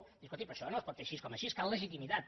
diu escolti però això no es pot fer així com així cal legitimitat